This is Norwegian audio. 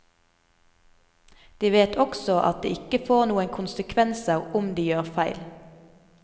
De vet også at det ikke får noen konsekvenser om de gjør feil.